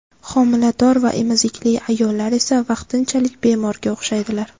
Homilador va emizikli ayollar esa vaqtinchalik bemorga o‘xshaydilar.